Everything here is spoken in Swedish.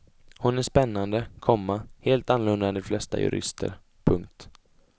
Hon är spännande, komma helt annorlunda än de flesta jurister. punkt